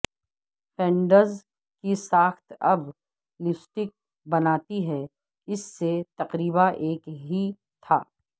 funds کی ساخت اب لپسٹک بناتی ہے اس سے تقریبا ایک ہی تھا